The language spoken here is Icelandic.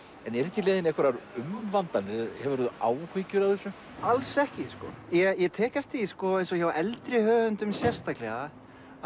en eru þetta í leiðinni einhverjar umvandanir hefurðu áhyggjur af þessu alls ekki sko ég tek eftir því eins og hjá eldri höfundum sérstaklega